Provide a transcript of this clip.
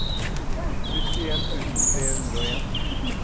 syttien tusen tre hundre og en